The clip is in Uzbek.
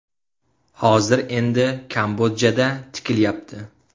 Hozir endi Kambodjada tikilyapti.